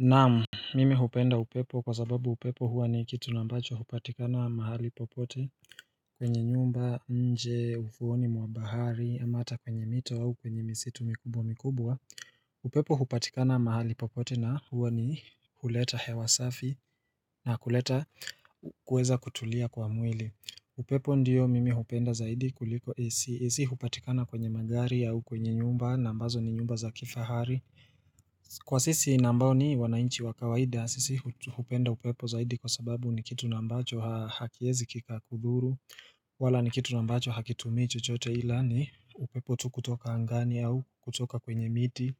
Naam, mimi hupenda upepo kwa sababu upepo huwa ni kitu ambacho hupatikana mahali popote kwenye nyumba nje ufuoni mwa bahari ama hata kwenye mito au kwenye misitu mikubwa mikubwa upepo hupatikana mahali popote na huwa ni huleta hewa safi na kuleta kuweza kutulia kwa mwili upepo ndiyo mimi hupenda zaidi kuliko isi isi hupatikana kwenye magari au kwenye nyumba na ambazo ni nyumba za kifahari Kwa sisi na ambao ni wananchi wa kawaida sisi hupenda upepo zaidi kwa sababu ni kitu na ambacho hakiwezi kikakudhuru wala ni kitu na ambacho hakitumii chochote ila ni upepo tu kutoka angani au kutoka kwenye miti